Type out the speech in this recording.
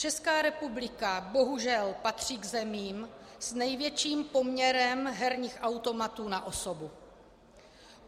Česká republika bohužel patří k zemím s největším poměrem herních automatů na osobu.